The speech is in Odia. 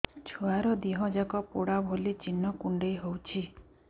ଛୁଆର ଦିହ ଯାକ ପୋଡା ଭଳି ଚି଼ହ୍ନ କୁଣ୍ଡେଇ ହଉଛି